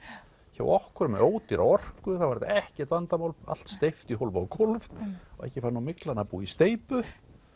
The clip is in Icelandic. hjá okkur með ódýra orku þá var ekkert vandamál allt steypt í hólf og gólf og ekki fer nú myglan að búa í steypu